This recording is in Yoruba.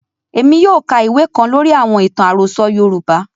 Émi yóò ka ìwe kan lóri àwọn itan arosọ Yorùbá.